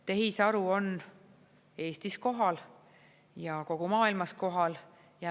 Tehisaru on Eestis kohal ja kogu maailmas kohal.